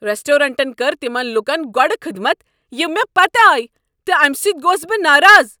ریسٹورانٹن کٔر تمن لوٗکن گۄڈ خدمت یم مےٚ پتہٕ آیہ تہٕ امہ سۭتۍ گوس بہٕ ناراض۔